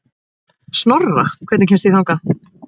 Snorra, hvernig kemst ég þangað?